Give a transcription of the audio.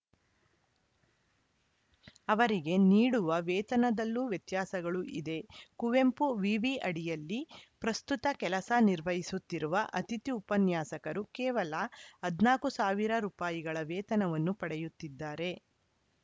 ಅವರಿಗೆ ನೀಡುವ ವೇತನದಲ್ಲೂ ವ್ಯತ್ಯಾಸಗಳು ಇದೆ ಕುವೆಂಪು ವಿವಿ ಅಡಿಯಲ್ಲಿ ಪ್ರಸ್ತುತ ಕೆಲಸ ನಿರ್ವಹಿಸುತ್ತಿರುವ ಅತಿಥಿ ಉಪನ್ಯಾಸಕರು ಕೇವಲ ಹದಿನಾಲ್ಕ್ ಸಾವಿರ ರೂಪಾಯಿ ಗಳ ವೇತನವನ್ನು ಪಡೆಯುತ್ತಿದ್ದಾರೆ